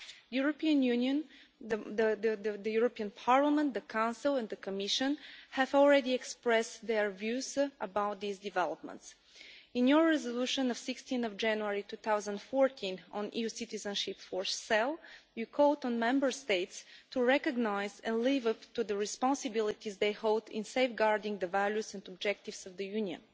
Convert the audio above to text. The European Union, the European Parliament, the Council and the Commission have already expressed their views about these developments. In your resolution of 16 January 2014 on EU citizenship for sale, you called on Member States to recognise and live up to the responsibilities they hold in safeguarding the values and objectives of the Union.